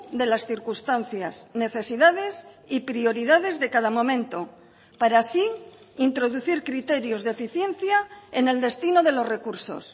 de las circunstancias necesidades y prioridades de cada momento para así introducir criterios de eficiencia en el destino de los recursos